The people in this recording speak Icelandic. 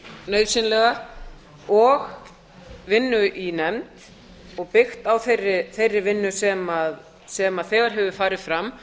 nauðsynlega og vinnu í nefnd og byggt á þeirri vinnu sem þegar hefur farið fram